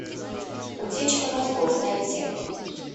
утечка мозгов найти